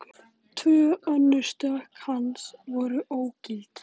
Tvö önnur stökk hans voru ógild